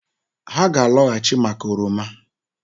Ha ga-alọghachị maka oroma